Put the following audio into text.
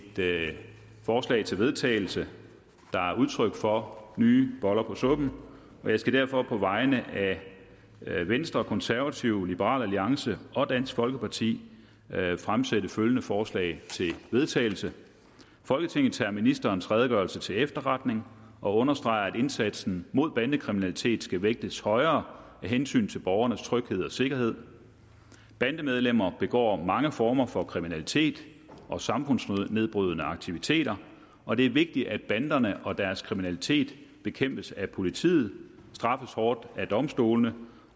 forslag til vedtagelse der er udtryk for nye boller på suppen jeg skal derfor på vegne af venstre de konservative liberal alliance og dansk folkeparti fremsætte følgende forslag til vedtagelse folketinget tager ministerens redegørelse til efterretning og understreger at indsatsen mod bandekriminalitet skal vægtes højere af hensyn til borgernes tryghed og sikkerhed bandemedlemmer begår mange former for kriminalitet og samfundsnedbrydende aktiviteter og det er vigtigt at banderne og deres kriminalitet bekæmpes af politiet og straffes hårdt af domstolene